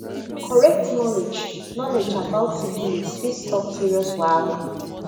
correct knowledge knowledge about syphilis fit stop serious wahala